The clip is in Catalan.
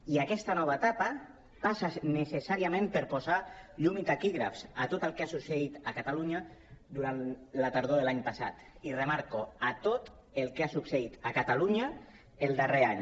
i aquesta nova etapa passa necessàriament per posar llum i taquígrafs a tot el que ha succeït a catalunya durant la tardor de l’any passat i ho remarco a tot el que ha succeït a catalunya el darrer any